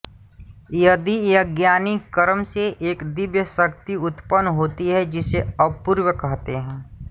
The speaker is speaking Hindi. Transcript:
यदि यज्ञादि कर्म से एक दिव्य शक्ति उत्पन्न होती है जिसे अपूर्व कहते हैं